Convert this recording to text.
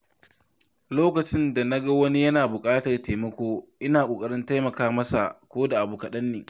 Lokacin da na ga wani yana buƙatar taimako, ina ƙoƙarin taimaka masa koda da abu kaɗan ne.